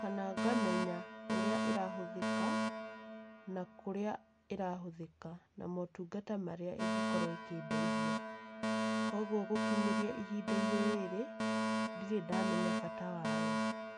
kana ngamenya ũrĩa ĩrahũthĩka na kũrĩa ĩrahũthĩka, na motungata marĩa ingĩkorwo ĩkĩndeithia. Koguo gũkinyĩria ihinda rĩrĩ, ndirĩ ndamenya bata wayo.